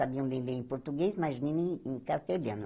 Sabiam bem ler em português, mas nem em em castelhano.